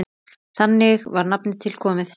Þannig var nafnið til komið.